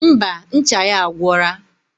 Ḿbà, ncha ya agwora